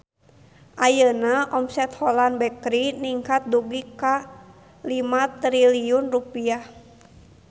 Ayeuna omset Holland Bakery ningkat dugi ka 5 triliun rupiah